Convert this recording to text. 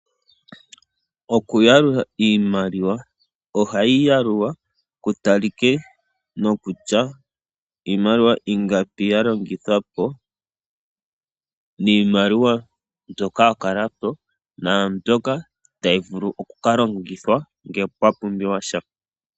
Okuyalula iimaliwa. Ohayi yalulwa ku talike nokutya iimaliwa ingapi ya longithwa po niimaliwa ingapi ya kala po naambyoka tayi vulu oku ka longithwa ngele pwa pumbiwa sha.